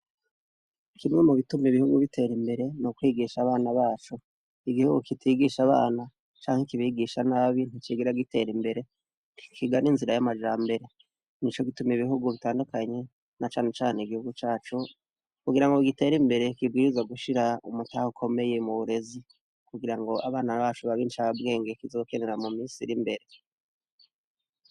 Kimwe mu bituma ibihugu bitera imbere n u kwigisha abana bacu igihugu kitigisha abana canga ikibigisha n'abi nticigira gitera imbere kigana inzira y'amajambere ni co gituma ibihugu bitandukanye na cane cane igihugu cyacu kugira ngo bgitera imbere kibwiriza gushira umutaha ukomeye mu burezi kugira ngo abana bacu babinshi ababwenge kizokenera mu misiri imbere.